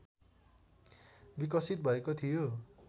विकसित भएको थियो